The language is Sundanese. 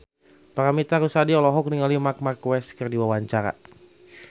Paramitha Rusady olohok ningali Marc Marquez keur diwawancara